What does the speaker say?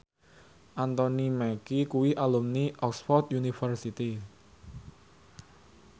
Anthony Mackie kuwi alumni Oxford university